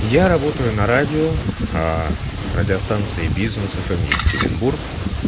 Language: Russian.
я работаю на радио радиостанции бизнес фм екатеринбург